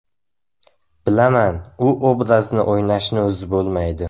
Bilaman, u obrazni o‘ynashni o‘zi bo‘lmaydi.